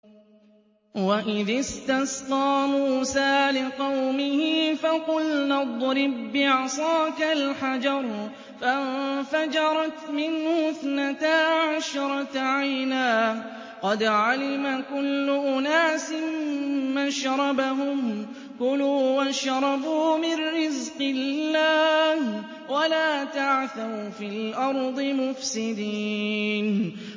۞ وَإِذِ اسْتَسْقَىٰ مُوسَىٰ لِقَوْمِهِ فَقُلْنَا اضْرِب بِّعَصَاكَ الْحَجَرَ ۖ فَانفَجَرَتْ مِنْهُ اثْنَتَا عَشْرَةَ عَيْنًا ۖ قَدْ عَلِمَ كُلُّ أُنَاسٍ مَّشْرَبَهُمْ ۖ كُلُوا وَاشْرَبُوا مِن رِّزْقِ اللَّهِ وَلَا تَعْثَوْا فِي الْأَرْضِ مُفْسِدِينَ